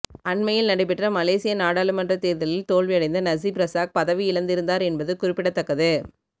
அண்மையில் நடைபெற்ற மலேசிய நாடாளுமன்றத் தேர்தலில் தோல்வியடைந்த நஜீப் ரசாக் பதவியிழந்திருந்தார் என்பது குறிப்பிடத்தக்கது